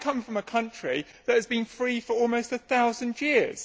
I come from a country that has been free for almost a thousand years